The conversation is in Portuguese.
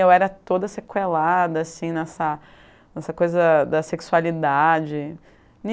Eu era toda sequelada assim, nessa nessa coisa da sexualidade.